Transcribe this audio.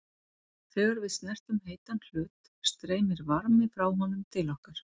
Þegar við snertum heitan hlut streymir varmi frá honum til okkar.